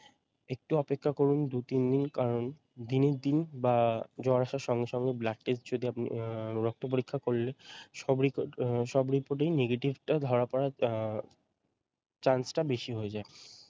একটু অপেক্ষা করুন দুই তিনদিন কারণ দিনের দিন বা জ্বর আসর সঙ্গে সঙ্গে blood test যদি আপনি আহ রক্ত পরীক্ষা করলে সব রিপ আহ সব report এই negative টা ধরা পড়ার আহ chance টা বেশি হয়ে যায় ।